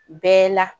Bɛɛ la